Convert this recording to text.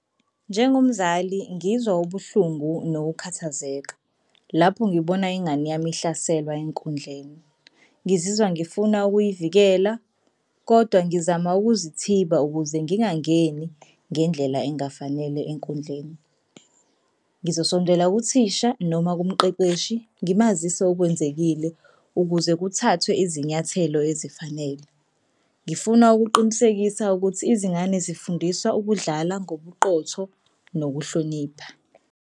Njengomzali ngizwa ubuhlungu nokukhathazeka lapho ngibona ingane yami ihlaselwa enkundleni. Ngizizwa ngifuna ukuyivikela kodwa ngizama ukuzithiba ukuze ngingangeni ngendlela engafanele enkundleni. Ngizosondela kuthisha noma kumqeqeshi ngimazise okwenzekile ukuze kuthathwe izinyathelo ezifanele. Ngifuna ukuqinisekisa ukuthi izingane zifundiswa ukudlala ngobuqotho nokuhlonipha.